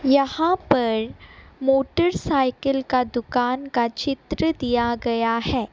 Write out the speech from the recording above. यहां पर मोटरसाइकिल का दुकान का चित्र दिया गया है।